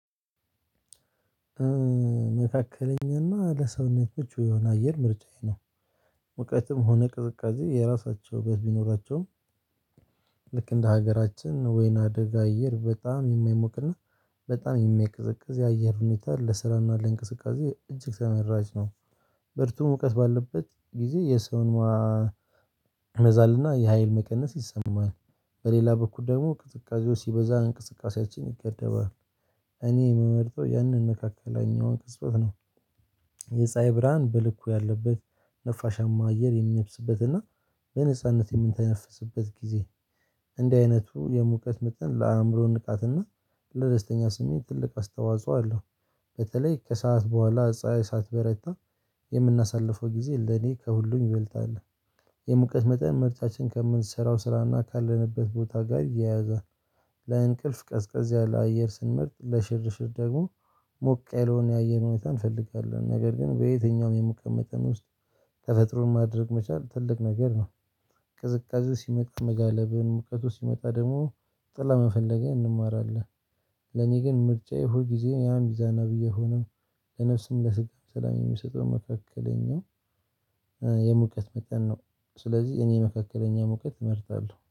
መካከለኛና ለሰውነቶቹ የሆነ አየር ምርጫዬ ነው። ሙቀትም ሆነ ቅዝቃዜ የራሳቸው በሚኖራቸውም ልክ እንደ ሀገራችን ወይና ደጋ አየር በጣም የማይሞቅና በጣም የማይቀዘቅዝ የአየር ሁኔታ ለስራና ለእንቅስቃሴ እጅግ ተመራጭ ነው። ሙቀት ባለበት ጊዜ የሰውን መዛልና የሀይል መቀነስ ይሰማል። በሌላ በኩል ደግሞ ቅጥቃዛው ሲበዛ እንቅስቃሴያችን ይገደባል። እኔ የምመርጠው ያንን መካከለኛው ቅጽበት ነው። የጻሀይ ብርሃን በልኩ ያለበት ነፋሻማ አየር የሚነፍስበትና በነጻነት የምንተነፍስበት ጊዜ። እንደዚህ አይነቱ የሙቀት መጠን ለአእምሮ ንቃትና ለደስተኛ ስሜት ትልቅ አስተዋጽኦ አለው። በተለይ ከሰአት በኋላ ጻሀይ ሳትበረታ የምናሳልፈው ጊዜ ለኔ ከሁሉም ይበልጣል። የሙቀት መጠን ምርታችን ከምንሰራው ስራና ካለንበት ቦታ ጋር ይያያዛል። ለእንቅልፍ ቀዝቀዝ ያለ አየር ስንመርጥ ለሽርሽር ደግሞ ሞቅ የለውን ያየር ሁኔታ እንፈልጋለን ነገር ግን በየትኛውም የሙቀት መጥን ውስጥ ተፈጥሮን ማድነቅ መቻል ትልቅ ነገር ነው። ቅዝቃዜ ሲመጣ መጋለብን ሙቀቱ ሲመጣ ደግሞ ጥላ መፈለግህ እንማራለን። ለኔ ግን ምርጫዬ ሁል ጊዜ ያ ሚዛናዊ የሆነው ለነፍስም ለስጋም ሰላም የሚሰጠው መካከለኛው የሙቀት መጠን ነው። ስለዚህ እኔ መካከለኛ ሙቀት እመርታለሁ